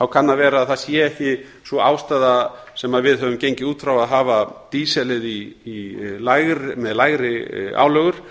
kann að vera að það sé ekki sú ástæða sem við höfum gengið út frá að hafa dísil með lægri álögur